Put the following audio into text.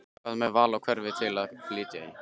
Hvað með val á hverfi til að flytja í?